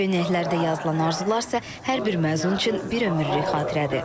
Köynəklərdə yazılan arzular isə hər bir məzun üçün bir ömürlük xatirədir.